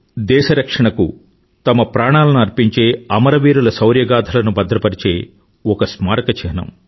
దేశ రక్షణకు తమ ప్రాణాలను అర్పించే అమరవీరుల శౌర్యగాధలను భద్రపరిచే ఒక స్మారక చిహ్నం